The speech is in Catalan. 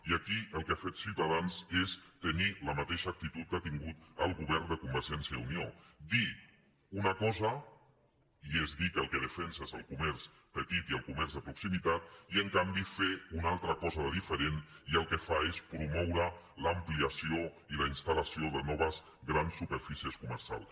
i aquí el que ha fet ciutadans és tenir la mateixa actitud que ha tingut el govern de convergència i unió dir una cosa i és dir que el que defensa és el comerç petit i el comerç de proximitat i en canvi fer una altra cosa diferent i el que fa és promoure l’ampliació i la instal·lació de noves grans superfícies comercials